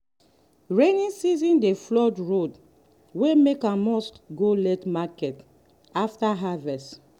every dry season we dey repair broken pipe before we move plant from nursery.